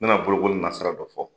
N bɛna bolokoli nasirara dɔ fɔ